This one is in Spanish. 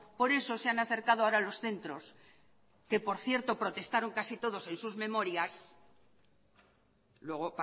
por eso se han acercado ahora a los centros que por cierto protestaron casi todos en sus memorias luego